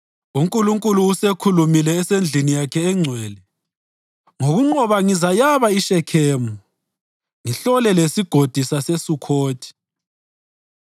UNkulunkulu usekhulumile esendlini yakhe engcwele: “Ngokunqoba ngizayaba iShekhemu, ngihlole leSigodi saseSukhothi.